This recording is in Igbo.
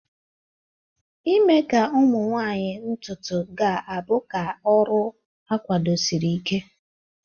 ime ka ụmụ nwanyị ntutu ga-abụ aka oru akwadosiri Ike.